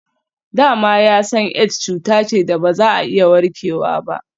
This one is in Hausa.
Da ma ya san Aids cuta ce da ba za a iya warkewa ba.